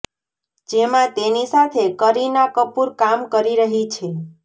જેમાં તેની સાથે કરીના કપૂર કામ કરી રહી છે